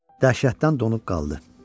Dəhşətdən donub qaldı.